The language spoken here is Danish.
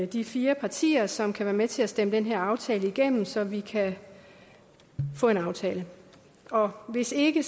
de fire partier som kan være med til at stemme den her aftale igennem så vi kan få en aftale hvis ikke